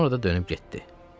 Sonra da dönüb getdi.